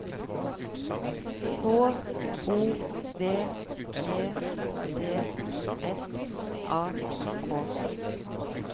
H O V E D S A K